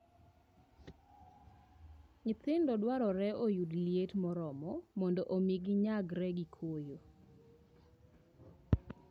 Nyithindo dwarore oyud liet moromo mondo omi ginyagre gi koyo.